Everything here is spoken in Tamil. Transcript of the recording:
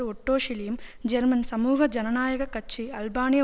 ஒட்டோ ஷிலியும் ஜெர்மன் சமூக ஜனநாய கட்சி அல்பானிய